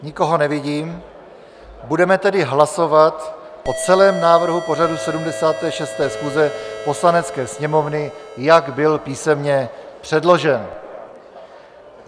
Nikoho nevidím, budeme tedy hlasovat o celém návrhu pořadu 76. schůze Poslanecké sněmovny, jak byl písemně předložen.